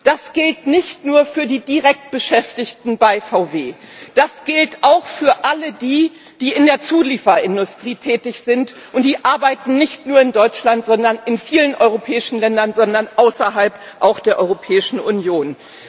Das gilt nicht nur für die direkt bei VW Beschäftigten. Das gilt auch für alle die, die in der Zulieferindustrie tätig sind, und die arbeiten nicht nur in Deutschland, sondern in vielen europäischen Ländern, auch außerhalb der Europäischen Union.